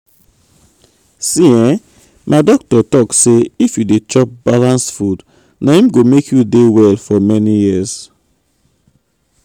see[um]my doctor talk say if you dey chop balanced food na im go make you dey well for many years.